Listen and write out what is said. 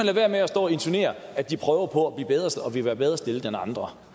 lade være med at stå og insinuere at de prøver på at ville være bedre stillet end andre